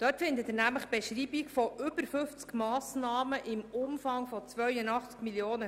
Darin finden Sie die Beschreibung von über 50 Massnahmen im Umfang von 82 Mio. Franken.